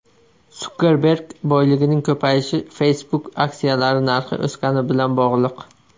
Sukerberg boyligining ko‘payishi Facebook aksiyalari narxi o‘sgani bilan bog‘liq.